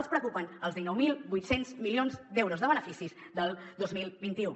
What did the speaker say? els preocupen els dinou mil vuit cents milions d’euros de beneficis del dos mil vint u